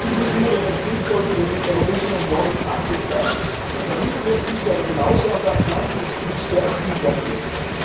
In diesem Sinne wäre es sinnvoll, wenn die Europäische Union in Afrika an der Mittelmeerküste, aber ebenso an der Atlantikküste aktiv werden würde.